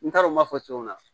N t'a dɔn n b'a fɔ cogo min na